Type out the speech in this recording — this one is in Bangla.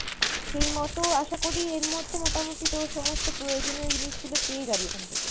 সেইমতো আশা করি এর মধ্যে মোটামুটি তোর সমস্ত প্রয়োজনীয় জিনিসগুলো পেয়ে যাবি ওখান থেকে।